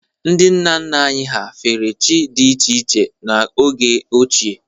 Ndị nna nna anyị fere chi dị iche iche n’oge ochie.